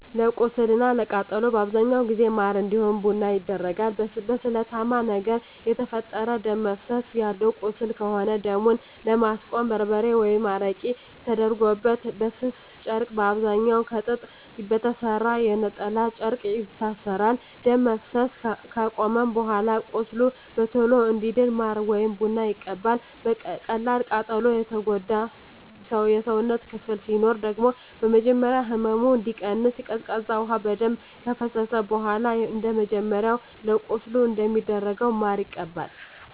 ለቁስል እና ለቃጠሎ በአብዛኛው ጊዜ ማር እንዲሁም ቡና ይደረጋል። በስለታማ ነገር የተፈጠረ ደም እፈሰሰ ያለው ቁስል ከሆነ ደሙን ለማስቆም በርበሬ ወይም አረቄ ተደርጎበት በስስ ጨርቅ በአብዛኛዉ ከጥጥ በተሰራ የነጠላ ጨርቅ ይታሰራል። ደም መፍሰስ አከቆመም በኃላ ቁስሉ በቶሎ እንዲድን ማር ወይም ቡና ይቀባል። በቀላል ቃጠሎ የጎዳ የሰውነት ክፍል ሲኖር ደግሞ በመጀመሪያ ህመሙ እንዲቀንስ ቀዝቃዛ ውሃ በደንብ ከፈሰሰበት በኃላ እንደመጀመሪያው ለቁስል እንደሚደረገው ማር ይቀባል።